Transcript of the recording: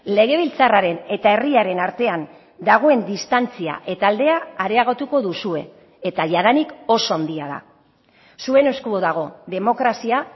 legebiltzarraren eta herriaren artean dagoen distantzia eta aldea areagotuko duzue eta jadanik oso handia da zuen esku dago demokrazia